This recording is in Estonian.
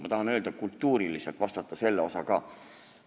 Ma tahan rääkida ka kultuurilisest küljest, vastata selle osa ka.